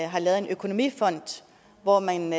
har lavet en økonomifond hvor man